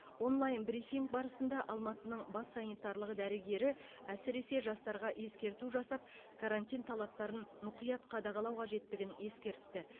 онлайн брифинг барысында алматының бас санитарлық дәрігері әсіресе жастарға ескерту жасап карантин талаптарын мұқият қадағалау қажеттігін ескертті